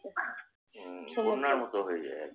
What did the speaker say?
উম বন্যার মত হয়ে যায় আরকি।